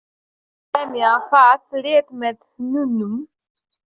Aðeins lemja það létt með hnúunum.